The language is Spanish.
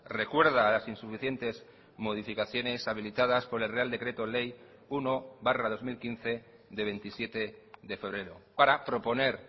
recuerda a las insuficientes modificaciones habilitadas por el real decreto ley uno barra dos mil quince de veintisiete de febrero para proponer